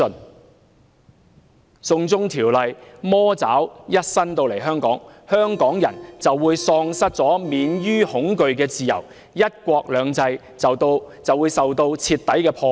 當"送中條例"的魔爪伸到香港時，香港人便會喪失免於恐懼的自由，"一國兩制"會被徹底破壞。